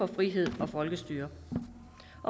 frihed og folkestyre